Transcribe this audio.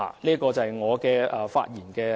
這是我的發言內容。